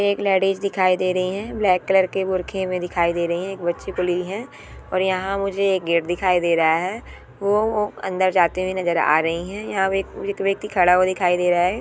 एक लेडीज दिखाई दे रही है ब्लैक कलर के भुरखे में दिखाई दे रहे है एक बच्ची को ली है और यहाँ मुझे एक गेट दिखाई दे रहा है वो अंदर जाते हुए नजर आ रही है यहाँ एक व्यक्ति खड़ा हुआ दिखाई दे रहा है।